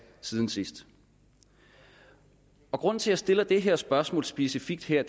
siden sidst grunden til at jeg stiller det her spørgsmål specifikt her